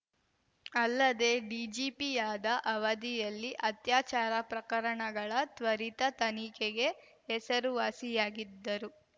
ಅಲ್ಲದೆ ಡಿಜಿಪಿಯಾದ ಅವಧಿಯಲ್ಲಿ ಅತ್ಯಾಚಾರ ಪ್ರಕರಣಗಳ ತ್ವರಿತ ತನಿಖೆಗೆ ಹೆಸರುವಾಸಿಯಾಗಿದ್ದರು